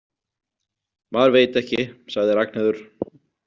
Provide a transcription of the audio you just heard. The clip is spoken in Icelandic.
Maður veit ekki, sagði Ragnheiður.